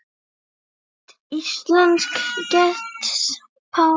Mynd: Íslensk getspá